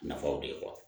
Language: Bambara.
Nafaw de ye